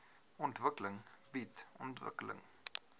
ontwikkeling bied ontwikkeling